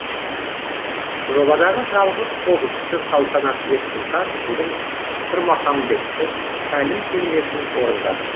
жобадағы жалғыз қобызшы салтанат ерсұлтан бүгін тұрмахамбеттің тәлім термесін орындады